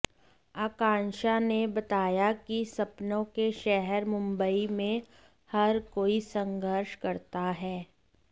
आकांक्षा ने बताया कि सपनों के शहर मुंबई में हर कोई संघर्ष करता है